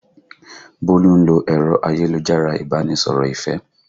Bólú ń lo ẹ̀rọ ayélujára Ìbánisọ̀rọ̀ ìfẹ́